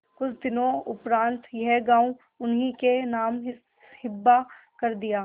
कुछ दिनों उपरांत यह गॉँव उन्हीं के नाम हिब्बा कर दिया